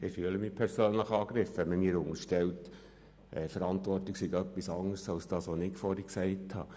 Ich fühle mich tatsächlich persönlich angegriffen, wenn man mir unterstellt, Verantwortung sei etwas anderes als das, was ich vorhin gesagt habe.